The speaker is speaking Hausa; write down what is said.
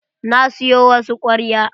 Na siyo wasu kwarya.